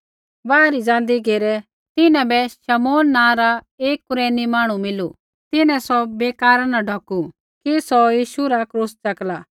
बाहरै ज़ाँदी घेरै तिन्हां बै शमौन नाँ रा एक कुरेनी मांहणु मिलू तिन्हैं सौ बेकारा न ढौकू कि सौ यीशु रा क्रूस च़ेकला